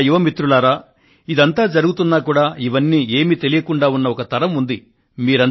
ఓ నా యువ మిత్రులారా ఇదంతా జరుగుతున్నా కూడా ఇవన్నీ ఏమీ తెలియకుండా ఉన్న ఒక తరం ఉంది